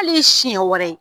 ' ye siɲɛ wɛrɛ ye